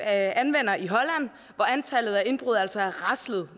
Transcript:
anvender i holland hvor antallet af indbrud altså er raslet